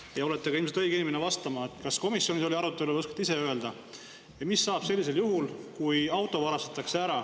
Te olete ilmselt ka õige inimene vastama, oli siis komisjonis selline arutelu või oskate ise öelda, mis saab sellisel juhul, kui auto ära varastatakse.